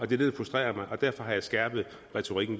det der frustrerer mig og derfor har jeg skærpet retorikken